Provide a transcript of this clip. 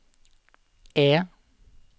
E